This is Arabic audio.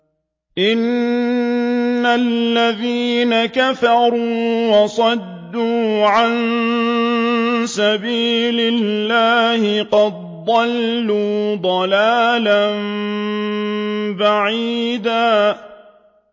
إِنَّ الَّذِينَ كَفَرُوا وَصَدُّوا عَن سَبِيلِ اللَّهِ قَدْ ضَلُّوا ضَلَالًا بَعِيدًا